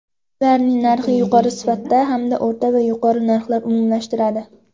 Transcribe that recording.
Ularni yuqori sifat hamda o‘rta va yuqori narxlar umumlashtiradi.